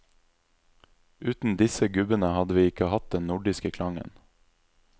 Uten disse gubbene hadde vi ikke hatt den nordiske klangen.